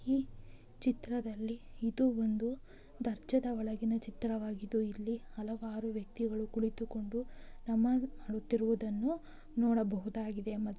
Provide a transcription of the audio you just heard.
ಈ ಚಿತ್ರದಲ್ಲಿ ಇದು ಒಂದು ದರ್ಗದ ಒಳಗಿನ ಚಿತ್ರ ವಾಗಿದ್ದು ಇಲ್ಲಿ ಹಲವಾರು ವ್ಯಕ್ತಿಗಳು ಕುಳಿತು ಕೊಂಡು ನಮಾಜ್ ಮಾಡುತ್ತಿರುವುದನ್ನು ನೋಡಬಹುದಾಗಿದೆ ಮತ್ತು --